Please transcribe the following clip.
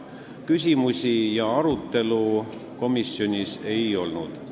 Küsimusi ega arutelu komisjonis ei olnud.